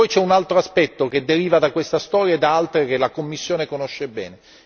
Poi c'è un altro aspetto che deriva da questa storia e da altre che la Commissione conosce bene.